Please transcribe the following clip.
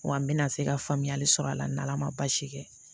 Wa n bɛna se ka faamuyali sɔrɔ a la n' ala ma baasi kɛ